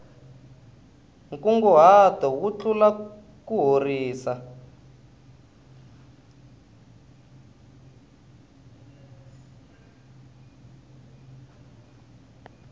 nkunguhato wu tlula kuhorisa